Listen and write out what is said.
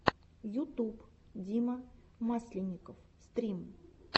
ютуб дима масленников стрим